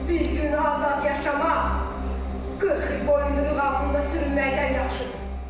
Bir gün azad yaşamaq 40 il boyunduruluq altında sürünməkdən yaxşıdır.